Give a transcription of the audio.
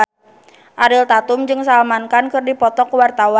Ariel Tatum jeung Salman Khan keur dipoto ku wartawan